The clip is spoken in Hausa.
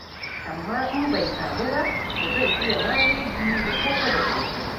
Amma in bai samu ba, to zan iya maleji da koko da ƙosai.